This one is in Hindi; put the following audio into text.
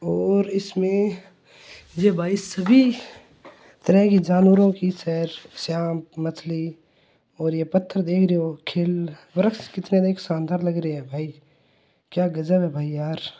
और इसमें ये भाई सभी तरह की जानवरों की सेर शांत मछली और ये पत्थर देख रहे हो खिल वृक्ष देख ने में शानदार लग रहा है भाई क्या गजब है भाई यार।